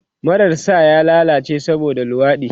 Marar sa ya lallace saboda luwaɗi